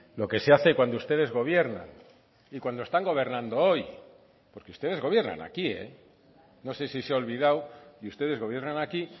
lo que se hace cuando ustedes gobiernan y cuando están gobernando hoy porque ustedes gobiernan aquí no sé si se ha olvidado y ustedes gobiernan aquí